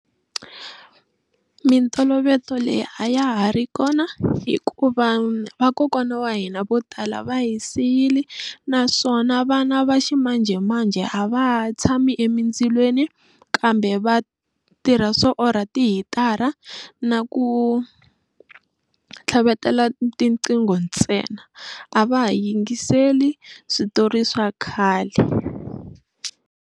Mintoloveto leyi a ya ha ri kona hikuva vakokwana wa hina vo tala va hi siyile naswona vana va ximanjhemanjhe a va ha tshami emindzilweni kambe va tirha swo orha tihitara na ku tlhavetela tiqingho ntsena a va ha yingiseli switori swa khale.